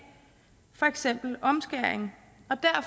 for eksempel omskæring